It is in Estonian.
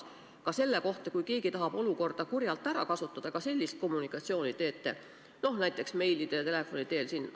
Ja kas te jagate ka sellist infot, kui keegi tahab olukorda kurjalt ära kasutada, näiteks meilide ja telefoni teel?